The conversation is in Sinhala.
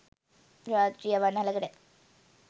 රාත්‍රී අවන්හලකට.